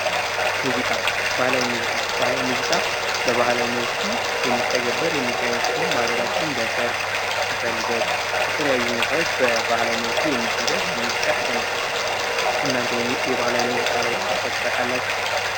ሙዚቃ ባህላዊ ሙዚቃ ባህላዊ ሙዚቃ በባህላዊ መልኩ የሚተገበር የሙዚቃ አይነት ሲሆን በሀገራችን በሰርግ በልደት በተለያዩ ሁኔታዎች በተለያየ መልኩ የሚደረግ የሙዚቃ አይነት ነው። እናንተ የባህላዊ ሙዚቃ ላይ ተሳትፋችሁ ታውቃላችሁ?